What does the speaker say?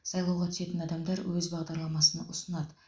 сайлауға түсетін адамдар өз бағдарламасын ұсынады